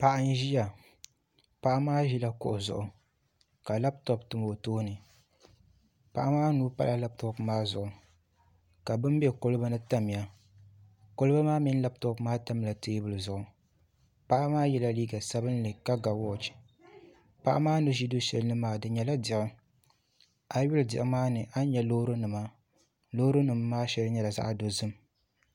Paɣa n ʒiya paɣa maa ʒila kuɣu zuɣu ka labtop tam o tooni paɣa maa nuu pala labtop maa zuɣi ka bin bɛ kolba ni tamya kolba maa mini labtop maa tamla teebuli zuŋu paɣa maa yɛla liiga sabinli ka ga wooch paɣa maa ni ʒi du shɛli ni maa di nyɛla diɣi a yi lihi diɣi maa ni a ni nyɛ loorinima loorinima maa shɛli nyɛla zaɣ dozim